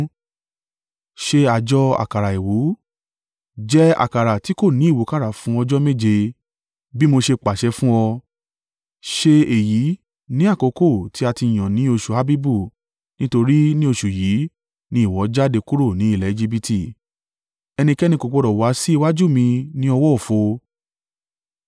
“Ṣe àjọ àkàrà àìwú; jẹ àkàrà ti kò ní ìwúkàrà fún ọjọ́ méje, bí mo ṣe pàṣẹ fún ọ. Ṣe èyí ní àkókò tí a ti yàn ní oṣù Abibu, nítorí ni oṣù yìí ni ìwọ jáde kúrò ni ilẹ̀ Ejibiti. “Ẹnikẹ́ni kò gbọdọ̀ wá sí iwájú mi ní ọwọ́ òfo.